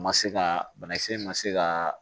Ma se ka banakisɛ in ma se ka